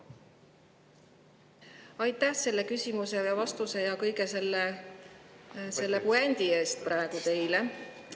Aitäh selle küsimusele vastuse ja kõige selle puändi eest teile!